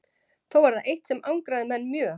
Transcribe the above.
Þó var það eitt sem angraði menn mjög.